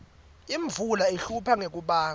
imvula ihlupha ngekubandza